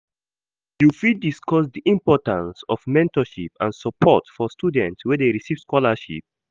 You fit discuss di importance of mentorship and support for students wey dey receive scholarships.